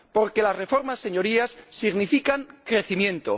Porque las reformas, Señorías, significan crecimiento.